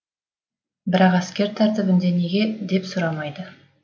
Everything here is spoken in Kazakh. бірақ әскер тәртібінде неге деп сұрамайды